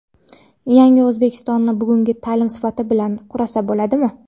"Yangi O‘zbekiston"ni bugungi taʼlim sifati bilan qursa bo‘ladimi?.